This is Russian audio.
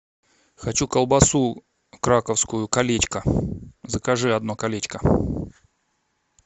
хочу колбасу краковскую колечко закажи одно колечко